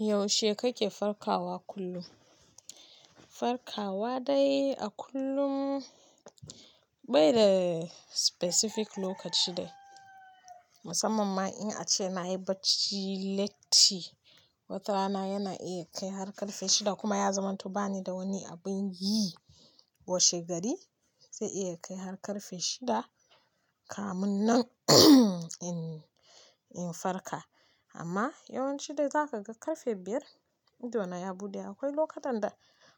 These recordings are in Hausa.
Yaushe kake farkawa kullum? Farkawa dai a kullum bai da specific lokaci dai. Musamman ma in ace nayi bacci latti, watarana yana iya kai har ƙarfe shida kuma ya zamanto bani da wani abin yi washe gari zai iya kai har ƙarfe shida kamun nan in-in farka. Amma yawanci dai za ka ga ƙarfe biyar idona ya buɗe akwai lokutan da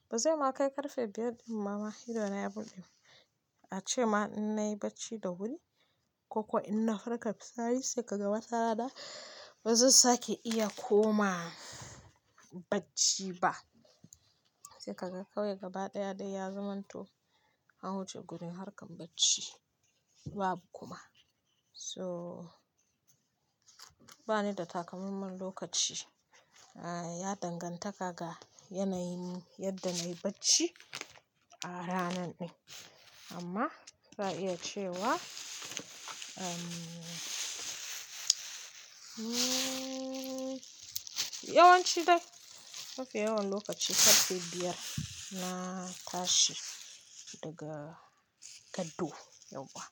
bazai ma kai ƙarfe biyar imma ba idona ya buɗe. A ce ma in nayi bacci da wuri ko kuwa ina farka safe sai ka ga watarana bazanusake iya koma bacci ba. Sai ka ga kawai gaba ɗaya dai ya zamanto an wuce gurin harkan bacci babu kuma. To bani da takamammen lokaci, ah ya danganta ga yanayin yadda nayi bacci a ranan ɗin. Amma za a iya cewa umm yawanci dai mafi yawan lokaci ƙarfe biyar na tashi daga gado yauwa.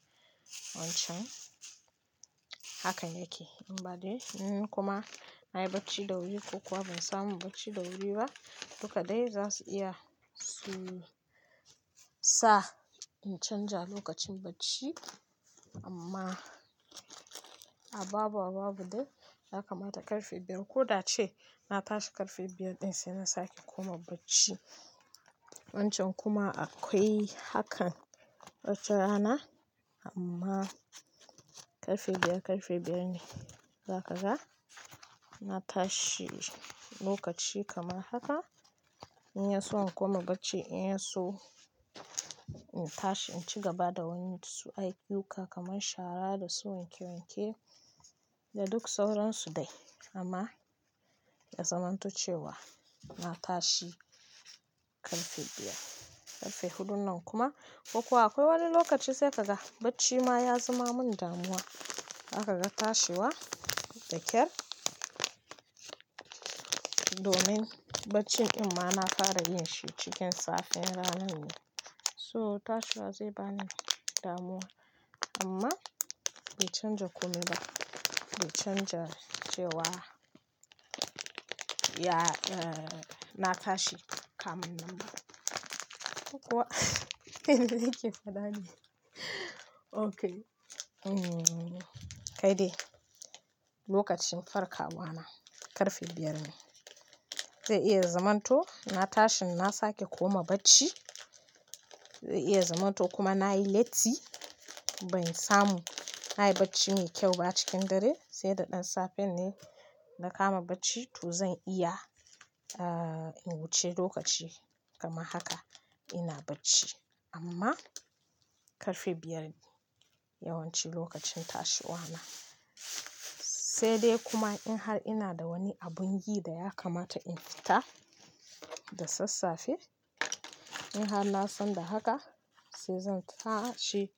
Wancan haka yake yi. Amma dai inkuma nayi bacci da wuri ko kuwa ban samu bacci da wuri ba, duka dai zasu iya su sa in canja lokacin bacci amma a babu a babu dai yakamata ƙarfe biyar. Ko da ce na tashi ƙarfe biyar ɗin sai na sake koma bacci. Wancan kuma akwai hakan wata rana amma ƙarfe biyar ƙarfe biyar ne za ka ga na tashi lokaci kamar haka in yaso in koma bacci in yaso in tashi in ci gaba da wani su ayyuka kamar shara da su wanke wanke da duk sauransu dai amma ya zamanto cewa na tashi ƙarfe biyar. Ƙarfe huɗun nan kuma ko kuwa akwai wani lokaci sai ka ga bacci ma ya zama min damuwa. Za ka ga tashiwa da ƙyar domin baccin din ma na fara yin shi cikin safen ranan ne. So tashkwa zai bani damuwa amma bai canja komai ba. Bai canja cewa ya-- na tashi kamun nan ba. Ko kuwa yanzu yake faɗa ne. Okay. Umm kai dai lokacin farkawa na ƙarfe biyar ne. Zai iya zamanto na tashi na sake koma bacci. Zai iya zamanto kuma nayi latti, bai samu nayi bacci mai kyau ba cikin dare sai da ɗan safen ne na kama bacci to zan iya ah in wuce lokaci kamar haka ina bacci amma ƙarfe biyar yawanci lokacin tashiwa na. Sai dai kuma in har ina da wani abin yi da ya kamata in fita da sassafe, in har na san da haka sai zan tashi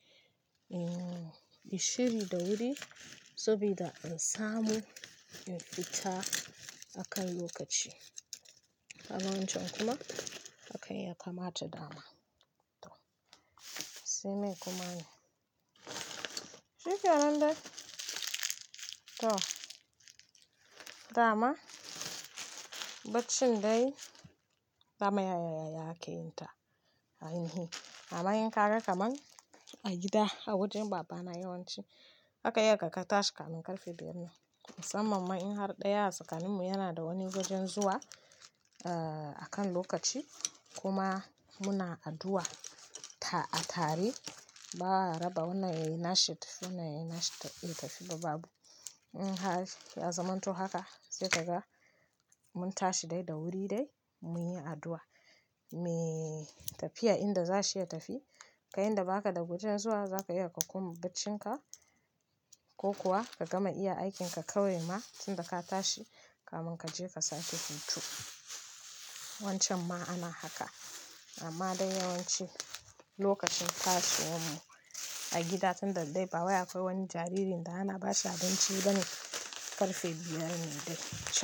in shiri da wuri, sabida in samu in fita akan lokaci. A wancan kuma hakan ya kamata dama. To sai mai kuma ne. Shikenan dai. To dama baccin dai dama yayaya ake yin ta, amma in ka ga kamar a gida a wajen baba na yawanci zaka iya ka kan tashi kamun ƙarfe biyar nan. Musamman in har ɗaya a tsakaninmu yana da wani wajen zuwa, akan lokaci kuma muna addu'a a tare, ba'a raba wannan yayi nashi wannan yayi nashi ta yi tafiya babu. In har ya zamanto haka sai ka ga mun tashi dai da wuri dai mu yi addu'a. Me tafiya inda zashi ya tafi ka inda baka da wajen zuwa zaka iya ka koma baccin ka ko kuwa ka gama iya aikin ka kawai ma tun da ka tashi kamun ka je ka sake hutu. Wancan ma ana haka, amma don yawanci lokacin tashiwan mu a gida tun da dai ba wai akwai wani jaririn da ana bashi abinci ba ne, ƙarfe biyar ne dai.